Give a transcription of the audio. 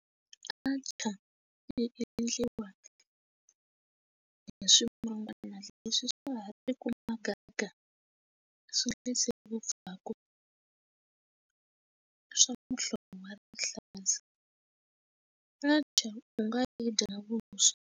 Artchar yi endliwa hi swihlungwana leswi swa i ku muganga swi nga vaviseki vupfaku swa muhlovo wa rihlaza atchar u nga yi dya na vuswa.